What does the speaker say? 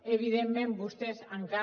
evidentment vostès encara